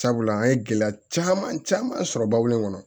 Sabula an ye gɛlɛya caman caman sɔrɔ babu in kɔnɔ